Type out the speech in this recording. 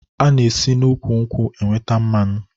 E si n'úkwù nkwụ enweta mmanụ